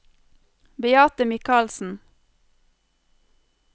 Beate Michaelsen